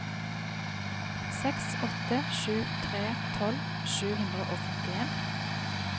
seks åtte sju tre tolv sju hundre og femtien